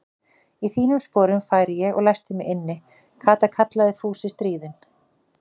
Í þínum sporum færi ég og læsti mig inni, Kata kallaði Fúsi stríðinn.